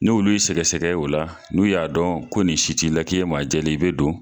Ni'olu' y'i sɛgɛsɛgɛ o la n'u y'a dɔn ko nin si t'i la k'i ye maa jɛlen ye i be don